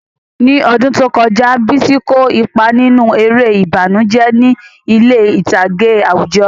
Ní ọdún tó kọjá, Bisi kó ipa nínú eré ìbànújẹ́ ní ilé ìtàgé àwùjọ.